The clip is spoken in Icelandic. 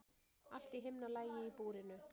Allt í himnalagi í búrinu.